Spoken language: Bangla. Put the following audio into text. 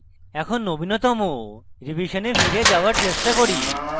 এখন নবীনতম revision ফিরে যাওযার চেষ্টা করি